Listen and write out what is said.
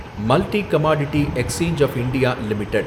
multi commodity exchange of India limited